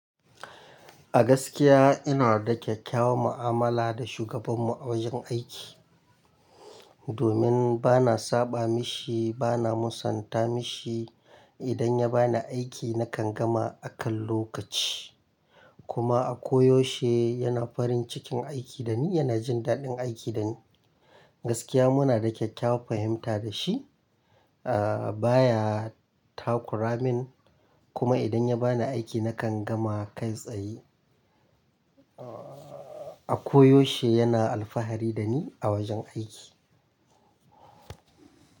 A gaskiya ina da kyakkyawan mu'amala da shugabanmu a wajen aiki. Domin bana saɓa mishi, bana musanta mishi. Idan ya bani aiki nakan gama a kan lokaci. Kuma a koyaushe yana farin cikin aiki da ni yana jin daɗin aiki da ni. Gaskiya muna da kyakkyawan fahimta da shi, ah baya takura min kuma idan ya bani aiki nakan gama kai tsaye. A koyaushe yana alfahari da ni a wajen aiki.